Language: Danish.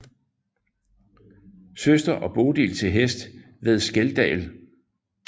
Søster og Bodil til hest ved Skeldal